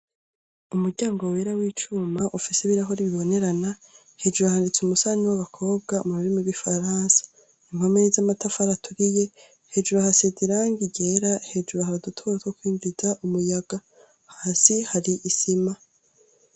Umuryango wera w'icuma ufise ibiyo bibonerana hejuru handitse umusanyi w'abakobwa mu rurimi rw'igifaransa. Impome z'amatafari aturiye hejuru hasize irangi igera hejuru hari udutoboro two kwinjiza umuyaga, hasi hari isima.